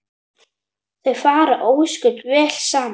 Þau fara ósköp vel saman